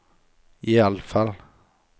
iallfall